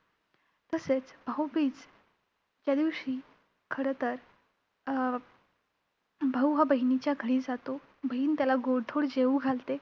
तसेच भाऊबीज त्यादिवशी खरं तर अं भाऊ हा बहिणीच्या घरी जातो, बहीण त्याला गोडधोड जेऊ घालते.